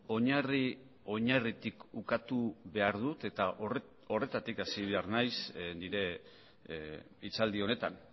oinarri oinarritik ukatu behar dut eta horretatik hasi behar naiz nire hitzaldi honetan